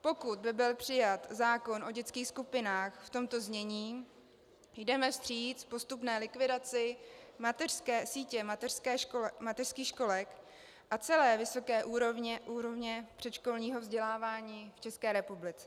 Pokud by byl přijat zákon o dětských skupinách v tomto znění, jdeme vstříc postupné likvidaci sítě mateřských školek a celé vysoké úrovně předškolního vzdělávání v České republice.